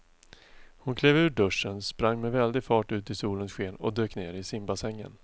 Hon klev ur duschen, sprang med väldig fart ut i solens sken och dök ner i simbassängen.